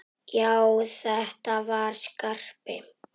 Já, þetta var Skarpi!